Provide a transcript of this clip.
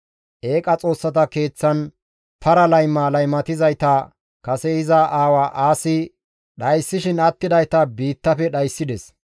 Eeqa xoossata keeththan para layma laymatizayta kase iza aawa Aasi dhayssishin attidayta biittafe dhayssides.